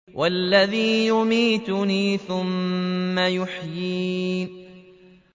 وَالَّذِي يُمِيتُنِي ثُمَّ يُحْيِينِ